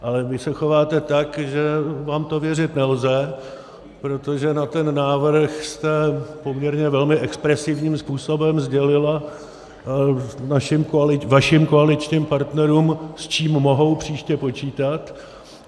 Ale vy se chováte tak, že vám to věřit nelze, protože na ten návrh jste poměrně velmi expresivním způsobem sdělila vašim koaličním partnerům, s čím mohou příště počítat.